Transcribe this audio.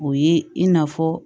O ye i n'a fɔ